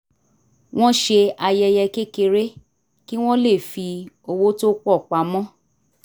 wọ́n ṣe ayẹyẹ kékeré kí wọ́n lè fi owó tó pọ̀ pamọ́